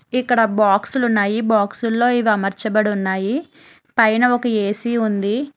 ఇక్కడ బాక్సులు ఉన్నాయి బాక్సుల్లో మార్చబడి ఉన్నాయి పైన ఒక ఏ_సీ ఉంది.